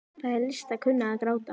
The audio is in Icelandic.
Það er list að kunna að gráta.